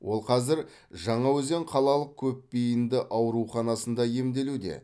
ол қазір жаңаөзен қалалық көпбейінді ауруханасында емделуде